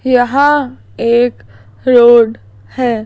यहां एक रोड है।